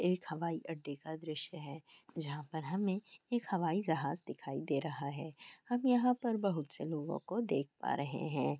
एक हवाई अड्डे का दृश्य है जहाँ पर हमें एक हवाई जहाज दिखाई दे रहा है। हम यहाँ पर बहुत से लोगों को देख पा रहे हैं।